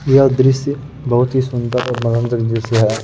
यह दृश्य बहुत ही सुन्दर और दृश्य है।